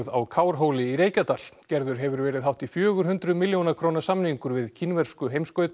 á Kárhóli í Reykjadal gerður hefur verið hátt í fjögur hundruð milljóna króna samningur við kínversku